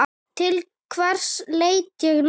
Til hvers leita ég núna?